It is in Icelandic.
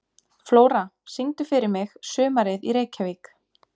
Flóra, syngdu fyrir mig „Sumarið í Reykjavík“.